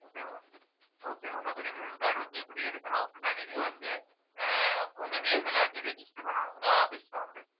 okay வா okay உங்க premium card வந்து எப்படி எடுக்கணும் அப்படின்னா நீங்க வந்து ஆஹ் உங்க name எல்லாத்தையும் register பண்ணணும் இங்க office ல வந்து